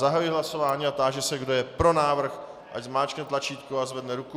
Zahajuji hlasování a táži se, kdo je pro návrh, ať zmáčkne tlačítko a zvedne ruku.